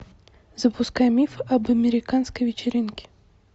запускай миф об американской вечеринке